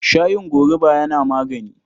Shayin gorubu yana magani.